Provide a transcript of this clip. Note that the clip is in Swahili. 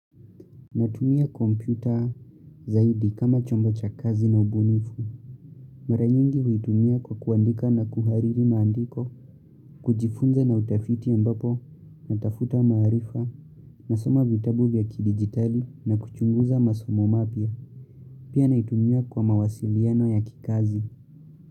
Natumia kompyuta zaidi kama chombo cha kazi na ubunifu. Mara nyingi huitumia kwa kuandika na kuhariri maandiko, kujifunza na utafiti ambapo natafuta maarifa, nasoma vitabu vya kidigitali na kuchunguza masomo mapya. Pia naitumia kwa mawasiliano ya kikazi.